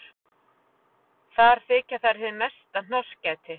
Þar þykja þær hið mesta hnossgæti.